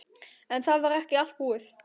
En það var ekki allt búið.